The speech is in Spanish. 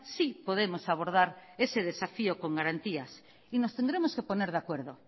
sí podemos abordar ese desafío con garantías y nos tendremos que poner de acuerdo